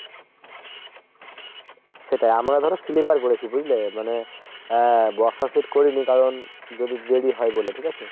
সেটাই আমরা ধরো sleeper বলেছি বুঝলে মানে আহ বসা seat করিনি কারণ যদি দেরি হয় বলে ঠিক আছে ?